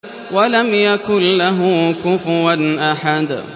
وَلَمْ يَكُن لَّهُ كُفُوًا أَحَدٌ